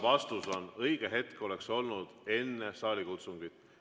Vastus on: õige hetk oleks olnud enne saalikutsungit.